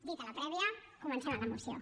dita la prèvia comencem amb la moció